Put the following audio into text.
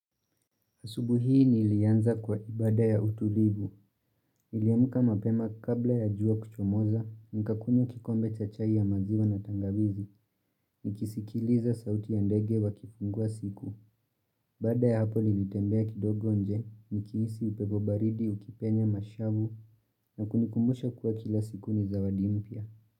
Asubuhi hii ni ilianza kwa ibada ya utulivu. Niliamka mapema kabla ya jua kuchomoza, nikakunywa kikombe chachai ya maziwa na tangawizi, nikisikiliza sauti ya ndege wa kifungua siku. Baada ya hapo nilitembea kidogo nje, nikihisi upepo baridi, ukipenya mashavu, na kunikumbusha kuwa kila siku ni zawadi mpya.